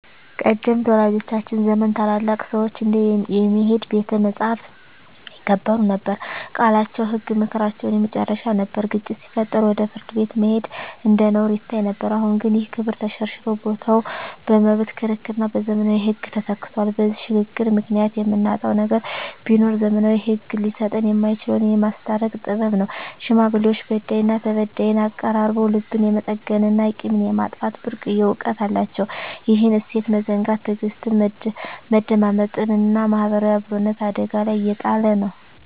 ቀደምት ወላጆቻችን ዘመን ታላላቅ ሰዎች እንደ "የሚሄድ ቤተ መጻሕፍት" ይከበሩ ነበር፤ ቃላቸው ህግ፣ ምክራቸው የመጨረሻ ነበር። ግጭት ሲፈጠር ወደ ፍርድ ቤት መሄድ እንደ ነውር ይታይ ነበር። አሁን ግን ይህ ክብር ተሸርሽሮ ቦታው በመብት ክርክርና በዘመናዊ ህግ ተተክቷል። በዚህ ሽግግር ምክንያት የምናጣው ነገር ቢኖር፣ ዘመናዊው ህግ ሊሰጠን የማይችለውን "የማስታረቅ ጥበብ" ነው። ሽማግሌዎች በዳይና ተበዳይን አቀራርበው ልብን የመጠገንና ቂምን የማጥፋት ብርቅዬ እውቀት አላቸው። ይህን እሴት መዘንጋት ትዕግስትን፣ መደማመጥንና ማህበራዊ አብሮነትን አደጋ ላይ እየጣለ ነው።